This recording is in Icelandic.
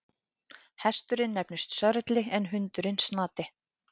Hesturinn nefnist Sörli en hundurinn Snati.